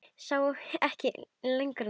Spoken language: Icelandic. Sá ekki lengra nefi sínu.